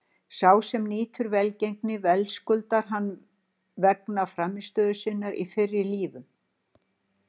Sá sem nýtur velgengni verðskuldar hana vegna frammistöðu sinnar í fyrri lífum.